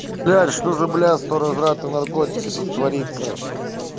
жаль что за блядство разврат и наркотики тут творится